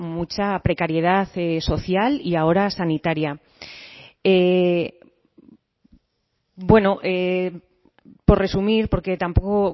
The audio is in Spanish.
mucha precariedad social y ahora sanitaria bueno por resumir porque tampoco